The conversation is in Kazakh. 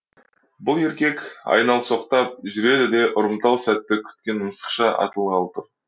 еркек айналсоқтап жүреді де ұрымтал сәтті күткен мысықша атылғалы тұр